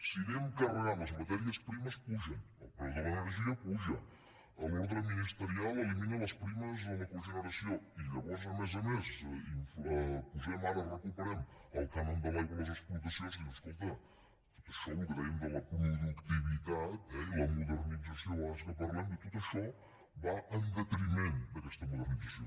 si anem carregant les matèries primeres pugen el preu de l’energia puja l’ordre ministerial elimina les primes a la cogeneració i llavors a més a més hi posem ara recuperem el cànon de l’aigua a les explotacions dius escolta tot això el que dèiem de la productivitat eh i la modernització a vegades que en parlem tot això va en detriment d’aquesta modernització